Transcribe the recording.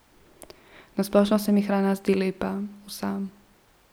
Na splošno se mi hrana zdi lepa, vsa.